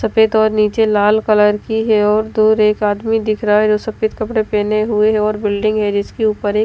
सफेद और नीचे लाल कलर की है और दूर एक आदमी दिख रहा है जो सफेद कपड़े पेहने हुए है और बिल्डिंग है जिसकी ऊपर एक--